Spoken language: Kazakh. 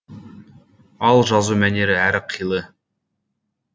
ал жазу мәнері әр қилы